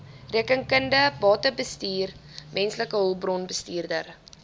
rekeningkunde batebestuur mensehulpbronbestuur